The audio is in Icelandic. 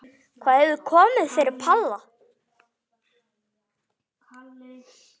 Hvað hefur komið fyrir Palla?